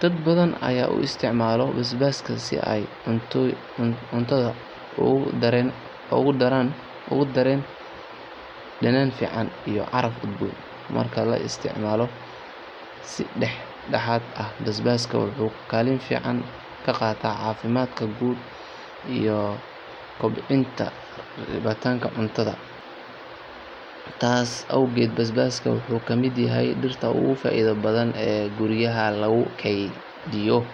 dadbathan Aya u isticmalah basbaska cuntoyinka ugu daran danan fican ee carabka noca lo isticmaloh si daxdaxatga aah basbaska waxu kalin fican ka qatah cafimadka iyo koobcinta cuntatha taas awgeet basbaska waxu lamit yahaya diirta ugu faitha bathan ee kuuriyahay lagu keetheyoh .